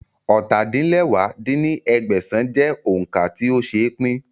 ọ́ta-din-lẹwá dín ní ẹgbẹ́sán jẹ́ òun ká tí ó ṣeé pín